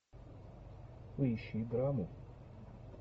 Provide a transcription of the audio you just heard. поищи драму